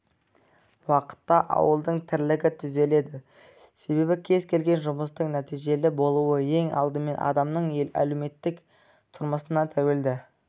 уақытта ауылдың тірлігі түзеледі себебі кез-келген жұмыстың нәтижелі болуы ең алдымен адамның әлеуметтік тұрмысына тәуелді